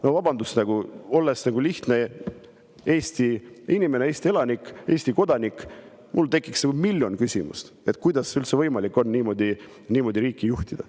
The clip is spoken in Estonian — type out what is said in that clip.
No vabandust, olles lihtne Eesti inimene, Eesti elanik, Eesti kodanik, mul tekiks miljon küsimust, kuidas üldse on võimalik niimoodi riiki juhtida.